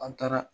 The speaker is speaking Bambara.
An taara